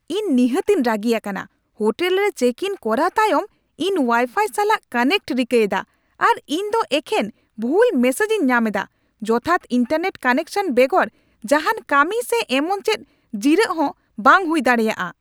ᱤᱧ ᱱᱤᱦᱟᱹᱛᱤᱧ ᱨᱟᱹᱜᱤ ᱟᱠᱟᱱᱟ ! ᱦᱳᱴᱮᱞ ᱨᱮ ᱪᱮᱠᱼᱤᱱ ᱠᱚᱨᱟᱣ ᱛᱟᱭᱚᱢ ᱤᱧ ᱳᱣᱟᱭᱼᱯᱷᱟᱭ ᱥᱟᱞᱟᱜ ᱠᱟᱱᱮᱠᱴ ᱨᱤᱠᱟᱹᱭᱮᱫᱟ, ᱟᱨ ᱤᱧ ᱫᱚ ᱮᱠᱷᱮᱱ ᱵᱷᱩᱞ ᱢᱮᱥᱮᱡ ᱤᱧ ᱧᱟᱢ ᱮᱫᱟ ᱾ ᱡᱚᱛᱷᱟᱛ ᱤᱱᱴᱟᱨᱱᱮᱴ ᱠᱟᱱᱮᱠᱥᱚᱱ ᱵᱮᱜᱚᱨ ᱡᱟᱦᱟᱱ ᱠᱟᱹᱢᱤ ᱥᱮ ᱮᱢᱚᱱ ᱪᱮᱫ ᱡᱤᱨᱟᱹᱜ ᱦᱚᱸ ᱵᱟᱝ ᱦᱩᱭ ᱫᱟᱲᱮᱭᱟᱜᱼᱟ ᱾